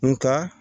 Nga